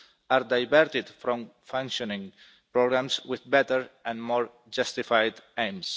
are diverted from functioning programmes with better and more justified aims.